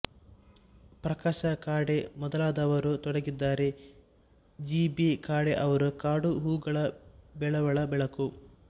ಪ್ರಕಾಶ ಖಾಡೆ ಮೊದಲಾದವರು ತೊಡಗಿದ್ದಾರೆ G B Khade ಅವರ ಕಾಡು ಹೂಗಳುಬೆಳವಲ ಬೆಳಕು